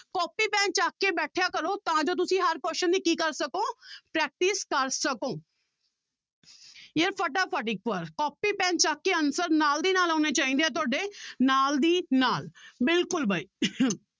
copy pen ਚੱਕ ਕੇ ਬੈਠਿਆ ਕਰੋ ਤਾਂ ਜੋ ਤੁਸੀਂ ਹਰ question ਦੀ ਕੀ ਕਰ ਸਕੋ practice ਕਰ ਸਕੋ ਯਾਰ ਫਟਾਫਟ ਇੱਕ ਵਾਰ ਕੋਪੀ ਪੈਨ ਚੁੱਕ ਕੇ answer ਨਾਲ ਦੀ ਨਾਲ ਆਉਣੇ ਚਾਹੀਦੇ ਹੈ ਤੁਹਾਡੇ ਨਾਲ ਦੀ ਨਾਲ ਬਿਲਕੁਲ ਬਾਈ